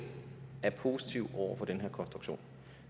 er positiv over for den her konstruktion